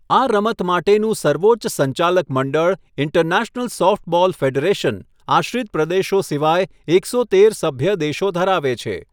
આ રમત માટેનું સર્વોચ્ચ સંચાલક મંડળ, ઇન્ટરનેશનલ સોફ્ટબોલ ફેડરેશન, આશ્રિત પ્રદેશો સિવાય એકસો તેર સભ્ય દેશો ધરાવે છે.